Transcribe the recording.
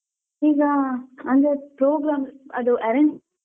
ಈಗ ಅಂದ್ರೆ program ಅದು arrange .